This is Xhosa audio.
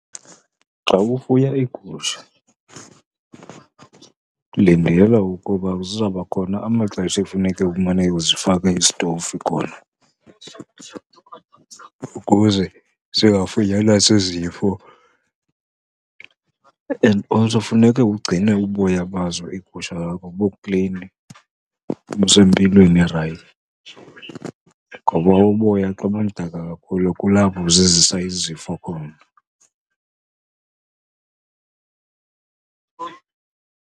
Xa ufuya iigusha lindela ukuba zizawuba khona amaxesha ekufuneke umane uzifaka isitofu khona ukuze zingafunyanwa zizifo. And also funeke ugcine uboya bazo iigusha zakho buklini, busempilweni erayithi, ngoba uboya xa bumdaka kakhulu kulapho zizisa izifo khona.